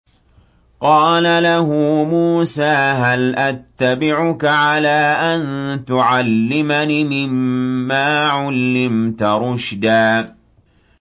قَالَ لَهُ مُوسَىٰ هَلْ أَتَّبِعُكَ عَلَىٰ أَن تُعَلِّمَنِ مِمَّا عُلِّمْتَ رُشْدًا